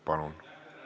Palun!